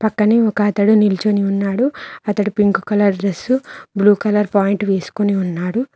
కానీ ఒక అతడు నిల్చుని ఉన్నాడు అతడు pink colour dress blue colour point వేసుకుని ఉన్నాడు.